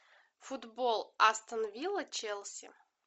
футбол астон вилла челси